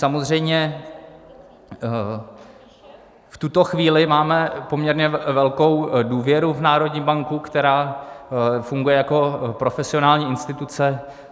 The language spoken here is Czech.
Samozřejmě v tuto chvíli máme poměrně velkou důvěru v národní banku, která funguje jako profesionální instituce.